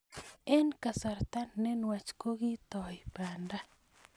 Eng kasarta ne nwach kokitoi banda